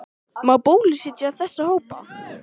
Má bólusetja þessa hópa?